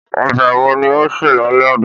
Ọbẹ̀ wo ni o se lálẹ́ àná?